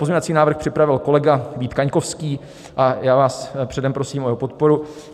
Pozměňovací návrh připravil kolega Vít Kaňkovský a já vás předem prosím o jeho podporu.